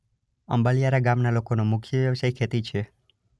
અંબાલીયારા ગામના લોકોનો મુખ્ય વ્યવસાય ખેતી છે.